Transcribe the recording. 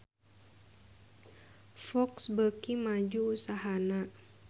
Fox beuki maju usahana